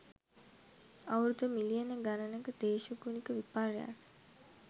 අවුරුදු මිලියන ගණනක දේශගුණික විපර්යාස